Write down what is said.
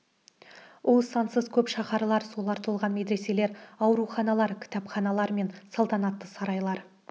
ол сансыз көп шаһарлар солар толған медреселер ауруханалар кітапханалар мен салтанатты сарайлар